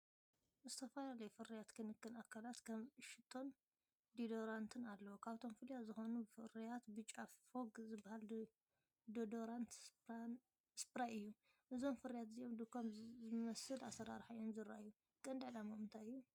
ዝተፈላለዩ ፍርያት ክንክን ኣካላት ከም ሽቶን ዲዮዶራንትን ኣለዉ። ካብቶም ፍሉያት ዝኾኑ ፍርያት ብጫ "ፎግ" ዝበሃል ዲዮዶራንት ስፕራይ እዩ። እዞም ፍርያት እዚኣቶም ድኳን ብዝመስል ኣሰራርሓ እዮም ዚርኣዩ። ቀንዲ ዕላማኦም እንታይ እዩ?